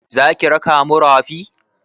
Za ki raka mu rafi?